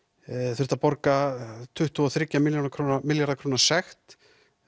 þurft að borga tuttugu og þriggja milljóna króna milljóna króna sekt